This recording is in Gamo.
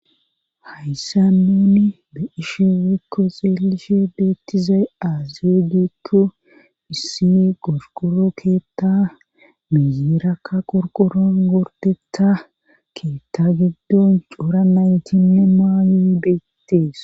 hayssa nuni be ishe weekko xeelishe beettizay aazeegikko issi qosqoro keetta miyierakka qorqoron gordeta keetta giddon cora naytinne maayoy beettees